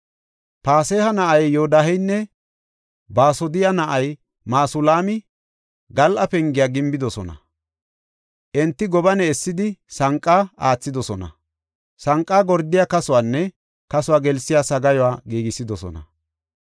Paseha na7ay Yodaaheynne Baasodiya na7ay Masulaami Gal7a Pengiya gimbidosona. Enti gobane essidi, sanqa aathidosona; sanqa gordiya kasuwanne kasuwa gelsiya sagaayuwa giigisidosona.